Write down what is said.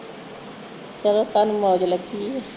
ਚਲੋ ਤੁਹਾਨੂੰ ਮੌਜ ਲੱਗੀ ਆ